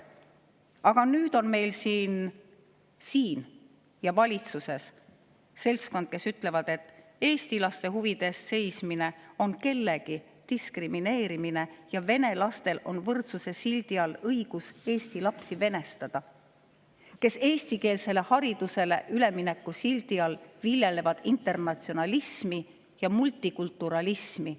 Aga nüüd on meil siin – siin ja valitsuses – seltskond, kes ütleb, et eesti laste huvide eest seismine on kellegi diskrimineerimine ja vene lastel on võrdsuse sildi all õigus eesti lapsi venestada, ja kes eestikeelsele haridusele ülemineku sildi all viljelevad internatsionalismi ja multikulturalismi.